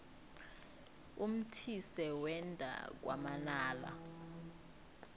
umthise wenda kwamanala